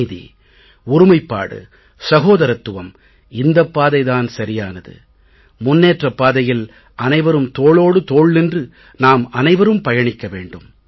அமைதி ஒருமைப்பாடு சகோதரத்துவம் இந்தப் பாதை தான் சரியானது முன்னேற்றப் பாதையில் அனைவரும் தோளோடு தோள் நின்று நாம் அனைவரும் பயணிக்க வேண்டும்